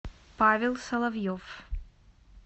павел соловьев